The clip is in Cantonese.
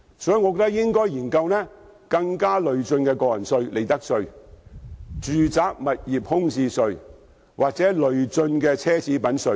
我認為應該研究更累進的個人稅、利得稅、物業空置稅或奢侈品稅。